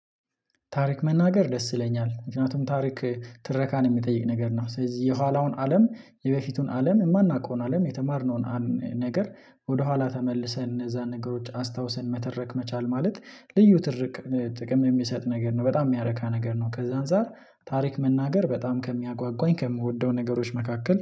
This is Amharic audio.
ታሪክ መናገር ደስ ይለኛል ምክንያቱም ታሪክ ትረካን የሚጠይቅ ነገር ነው ስለዚ የኋላውን አለም የበፊቱን አለም ማናቀውን አለም የተማርነውን ነገር ወደኋላ ተመልሰን እነዛን ነገሮች አስታውሰን መተረክ መቻል ማለት ልዩ ትርቅ ጥቅምን የሚሰጥ ነገር ነው በጣም ሚያረካ ነገር ነው። ከዛ አንፃር ታሪክ መናገር በጣም ከሚያጓጓኝ ከምወደው ነገሮች መካከል